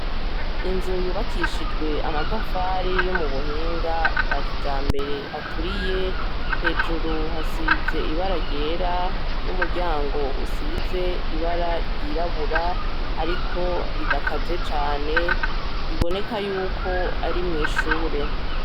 Inzu yubakishijwe amatafari yo mu buhinga bwa kija mbere aturiye hejuru hasize ibara ryera n'umuryango usize ibara ryirabura, ariko ridakaze cane riboneka yuko ari mw'ishure.